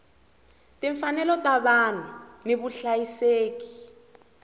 timfanelo ta vanhu ni vuhlayiseki